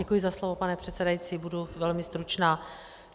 Děkuji za slovo, pane předsedající, budu velmi stručná.